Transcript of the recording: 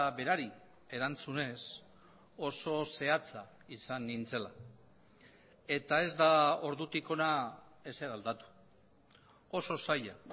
berari erantzunez oso zehatza izan nintzela eta ez da ordutik hona ezer aldatu oso zaila